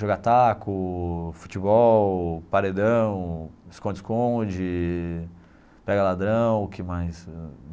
jogar taco, futebol, paredão, esconde-esconde, pega-ladrão, o que mais?